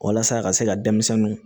Walasa a ka se ka denmisɛnninw